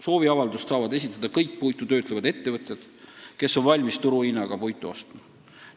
Sooviavalduse saavad esitada kõik puitu töötlevad ettevõtjad, kes on valmis turuhinnaga puitu ostma.